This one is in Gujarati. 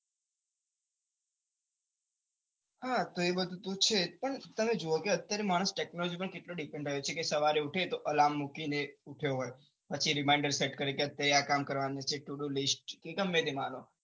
એ વસ્તુ તો છે પણ તમે જુઓ કે અત્યારે માણસ technology પર કેટલો depend આવ્યો છે કે સવારે ઉઠે તો alarm મુકીને ઉઠ્યો હોય પછી reminder set કરે કે અત્યારે આ કામ કરવાનું છે todo list એ ગમે તે માનો